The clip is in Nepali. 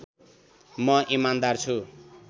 म इमान्दार छु